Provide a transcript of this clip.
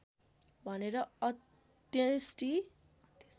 भनेर अन्त्येष्टि